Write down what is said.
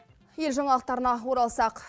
ел жаңалықтарына оралсақ